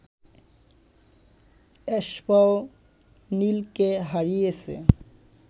এসপাওনিলকে হারিয়েছে